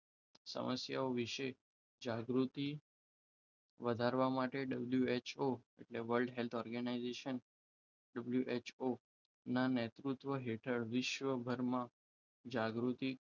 સમસ્યાઓ વિશે જાગૃતિ વધારવા માટે WHO એટલે કે world health organisation ના નેતૃત્વ હેઠળ વિશ્વભરમાં જાગૃતિ